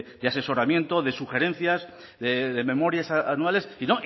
de asesoramiento de sugerencias de memorias anuales y